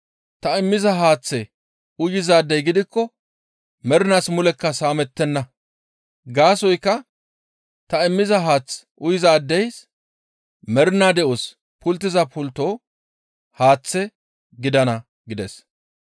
Ta immiza haaththe uyizaadey gidikko mernaas mulekka saamettenna; gaasoykka ta immiza haath uyizaades mernaa de7os pulttiza pultto haaththe gidana» gides.